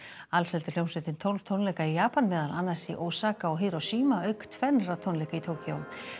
alls heldur hljómsveitin tólf tónleika í Japan meðal annars í Osaka og Hiroshima auk tvennra tónleika í Tókýó